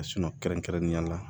kɛrɛnkɛrɛnnenya la